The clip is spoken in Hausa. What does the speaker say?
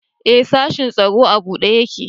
E, sashin tsaro a buɗe ƴaƙe.